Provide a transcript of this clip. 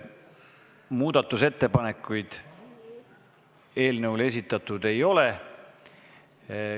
Muudatusettepanekuid eelnõu kohta esitatud ei ole.